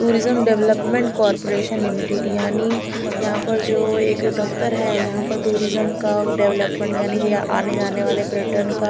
tourism development corporation limited यानी यहाँ पे जो एक दफतर हैं यहाँ पर टूरिज्म का डेवलपमेंट यानी आने जाने वाले पर्यटन का--